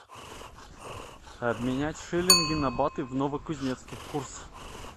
обменять шиллинги на баты в новокузнецке курс